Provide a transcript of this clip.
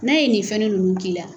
N'a ye nin fɛnni ninnunk'i la